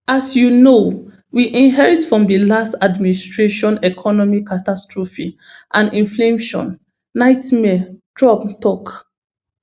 as you know we inherit from di last administration economic catastrophe and inflation nightmare trump tok